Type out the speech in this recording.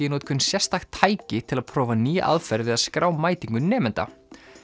í notkun sérstakt tæki til að prófa nýja aðferð við að skrá mætingu nemenda